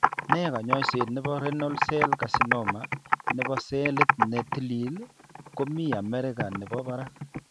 Nee kanyoiset nebo Renal cell Carcinoma nebo selit ne tilil ko mi America nebo barak.